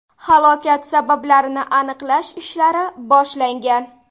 Halokat sabablarini aniqlash ishlari boshlangan.